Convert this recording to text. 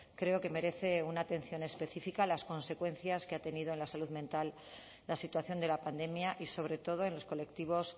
creo que merece una atención específica a las consecuencias que ha tenido en la salud mental la situación de la pandemia y sobre todo en los colectivos